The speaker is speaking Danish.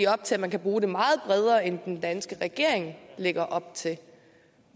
op til at man kan bruge det meget bredere end den danske regering lægger op til